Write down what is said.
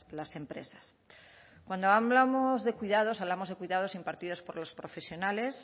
las empresas cuando hablamos de cuidados hablamos de cuidados impartidos por los profesionales